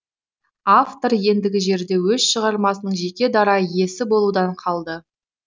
автор ендігі жерде өз шығармасының жеке дара иесі болудан қалды